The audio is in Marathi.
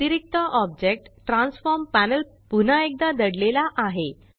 अतिरिक्त ऑब्जेक्ट ट्रॅन्सफॉर्म पॅनल पुन्हा एकदा दडलेला आहे